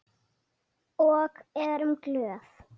Og erum glöð.